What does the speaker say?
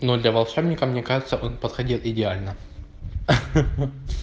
но для волшебника мне кажется он подходил идеально ха-ха